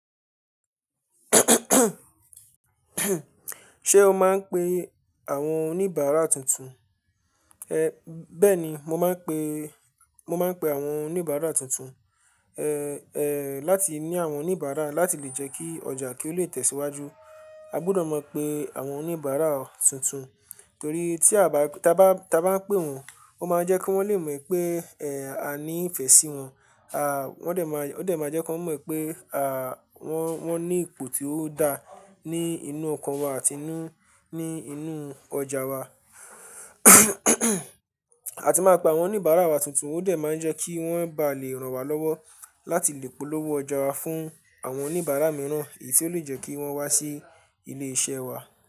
Ṣé o máa ń pe àwọn oníbàárà tuntun? Bẹ́ẹ̀ni, mo máa ń pe, mo máa ń pe àwọn oníbàárà tuntun ẹ láti ní àwọn oníbàárà láti lè jẹ́ kí ọjà kí ó lè tẹ̀síwájú. A gbọdọ̀ mọ pé àwọn oníbàárà tuntun torí tí a bá, tí a bá, tí a bá pè wọ́n, ó máa jẹ́ kí wọ́n lè mọ̀ pé a ní ìfẹ́ sí wọn, a, wọ́n dẹ̀ máa, o dẹ̀ máa jẹ́ kí wọ́n mọ̀ pé a, wọ́n, wọ́n ní ipò tí ó dá ní inú ọkàn wa àti inú, ní inú ọjà wa. A ti máa pe àwọn oníbàárà wa tuntun, ó dẹ̀ máa ń jẹ́ kí wọ́n bá lè ràn wá lọ́wọ́ láti lè polówó ọjà wa fún àwọn oníbàárà mìíràn èyí tó lè jẹ́ kí wọ́n wá sí ilé iṣẹ́ wa.